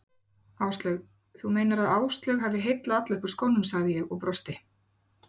Áslaug, þú meinar að Áslaug hafi heillað alla upp úr skónum sagði ég og brosti.